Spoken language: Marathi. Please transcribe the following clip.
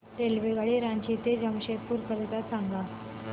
रेल्वेगाडी रांची ते जमशेदपूर करीता सांगा